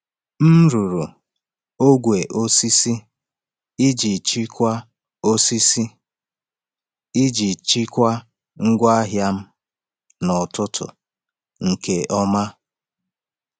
M rụrụ ogwe osisi iji chịkwaa osisi iji chịkwaa ngwa ahịa m n’ọtụtù nke ọma.